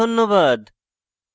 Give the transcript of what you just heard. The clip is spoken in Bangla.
অংশগ্রহণের জন্য ধন্যবাদ